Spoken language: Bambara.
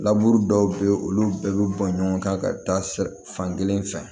Laburu dɔw bɛ ye olu bɛɛ bɛ bɔ ɲɔgɔn kan ka taa fan kelen fɛ